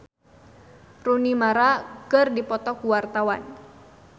Poppy Sovia jeung Rooney Mara keur dipoto ku wartawan